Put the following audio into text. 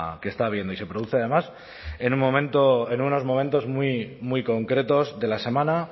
que está habiendo y se produce además en unos momentos muy concretos de la semana